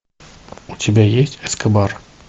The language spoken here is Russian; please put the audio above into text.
у тебя есть эскобар